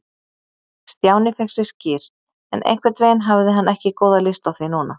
Stjáni fékk sér skyr, en einhvern veginn hafði hann ekki góða lyst á því núna.